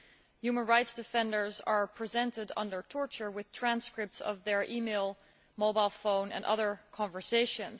Human rights defenders are presented under torture with transcripts of their email, mobile phone and other conversations.